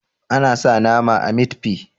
ana sa nama a mit fi